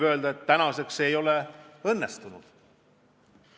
See aga ei õnnestunud.